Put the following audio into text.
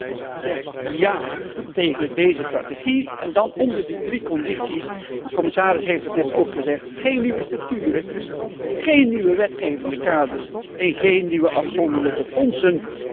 De PPE Fractie zegt ja tegen deze strategie. En dan onder die drie condities de commissaris heeft het net ook gezegd geen nieuwe structuren, geen nieuwe wetgevende kaders en geen nieuwe afzonderlijke fondsen.